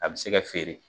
A bɛ se ka feere